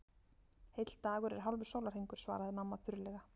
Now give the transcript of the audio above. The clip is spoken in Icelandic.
Heill dagur er hálfur sólarhringur, svaraði mamma þurrlega.